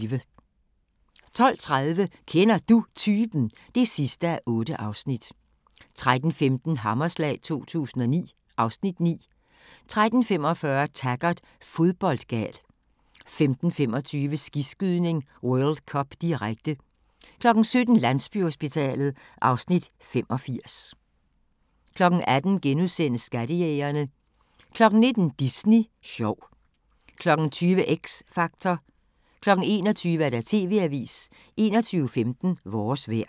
12:30: Kender Du Typen? (8:8) 13:15: Hammerslag 2009 (Afs. 9) 13:45: Taggart: Fodboldgal 15:25: Skiskydning: World Cup, direkte 17:00: Landsbyhospitalet (Afs. 85) 18:00: Skattejægerne * 19:00: Disney sjov 20:00: X Factor 21:00: TV-avisen 21:15: Vores vejr